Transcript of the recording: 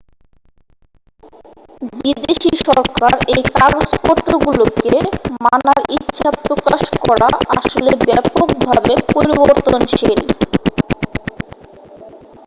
বিদেশী সরকার এই কাগজপত্রগুলোকে মানার ইচ্ছা প্রকাশ করা আসলে ব্যাপকভাবে পরিবর্তনশীল